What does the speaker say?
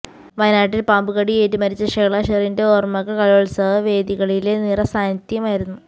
വയനാട്ടിൽ പാമ്പുകടിയേറ്റ് മരിച്ച ഷെഹ്ല ഷെറിന്റെ ഓർമ്മകൾ കലോത്സവ വേദികളിലെ നിറ സാന്നിധ്യമായിരുന്നു